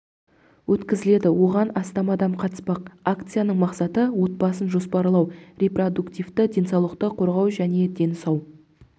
өткзіледі оған астам адам қатыспақ акцияның мақсаты отбасын жоспарлау репродуктивті денсаулықты қорғау және дені сау